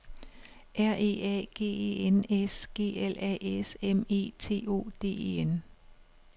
R E A G E N S G L A S M E T O D E N